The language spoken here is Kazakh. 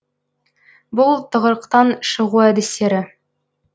бұл тығырықтан шығу әдістері